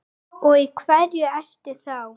Og í hverju ertu þá?